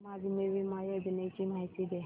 आम आदमी बिमा योजने ची माहिती दे